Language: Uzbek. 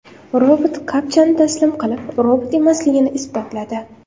Robot kapchani taslim qilib, robot emasligini isbotladi .